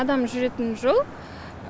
адам жүретін жол